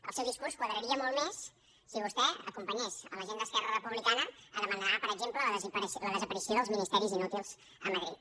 el seu discurs quadraria molt més si vostè acompanyés la gent d’esquerra republicana a demanar per exemple la desaparició dels ministeris inútils a madrid